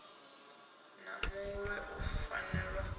na muṋwe u fanela u